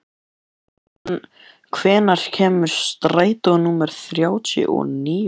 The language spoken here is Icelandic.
Völundur, hvenær kemur strætó númer þrjátíu og níu?